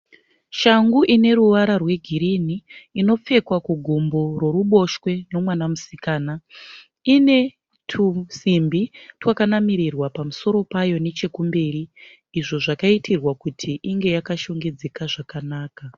Shangu ine ruvara rwegirini. Inopfekwa kugumbo roruboshwe romwana musikana. Ine tusimbi twakanamirirwa pamusoro payo nechekumberi. Izvo zvakaitirwa kuti inge yakashongedzeka zvakanaka.